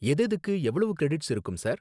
எதெதுக்கு எவ்ளோ கிரெடிட்ஸ் இருக்கும், சார்?